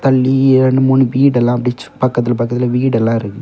ரெண்டு மூணு வீடெல்லாம் ப்ச் பக்கத்துல பக்கத்துல வீடெல்லாம் இருக்கு.